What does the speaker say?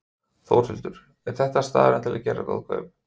Þórhildur: Er þetta staðurinn til að gera góð kaup?